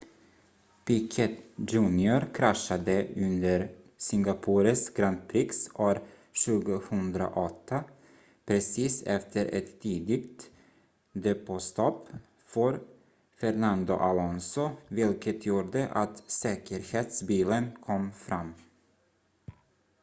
piquet jr kraschade under singapores grand prix år 2008 precis efter ett tidigt depåstopp för fernando alonso vilket gjorde att säkerhetsbilen kom fram